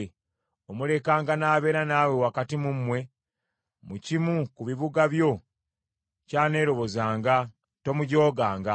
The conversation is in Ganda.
Omulekanga n’abeera naawe wakati mu mmwe, mu kimu ku bibuga byo ky’aneerobozanga. Tomujooganga.